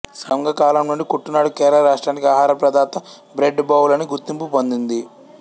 సంగకాలం నుండి కుట్టనాడు కేరళ రాష్ట్రానికి ఆహారప్రదాత బ్రెడ్ బౌల్ అని గుర్తింపు పొందింది